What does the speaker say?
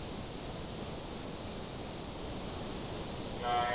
ନାଇଁ